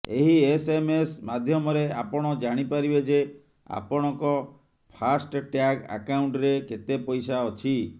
ଏହି ଏସଏମଏସ୍ ମାଧ୍ୟମରେ ଆପଣ ଜାଣିପାରିବେ ଯେ ଆପଣଙ୍କ ଫାଷ୍ଟ ଟ୍ୟାଗ୍ ଆକାଉଣ୍ଟରେ କେତେ ପଇସା ଅଛି